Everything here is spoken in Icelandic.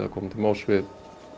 að koma til móts við